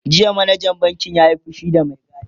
jiya manajan bankin ya Yi fushi da Mai gadin